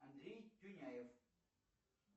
андрей тюняев